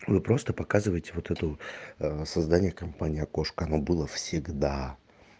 вы просто показывать вот это вот создания компании окошко оно было всегда